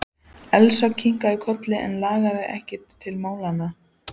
Elsa kinkaði kolli en lagði ekkert til málanna.